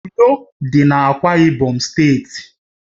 Uyo dị n'Akwa Ibom steeti